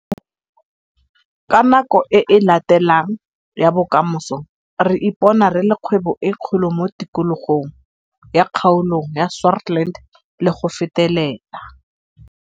Ka nako e e latelang ya bokamoso re ipona re le kgwebo e kgolo mo tikologong ya kgaolong ya Swartland le go fetelela.